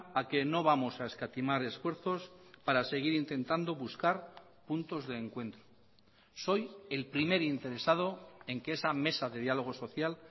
a que no vamos a escatimar esfuerzos para seguir intentando buscar puntos de encuentro soy el primer interesado en que esa mesa de diálogo social